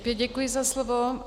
Opět děkuji za slovo.